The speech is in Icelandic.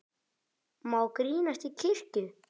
Má grínast í kirkju?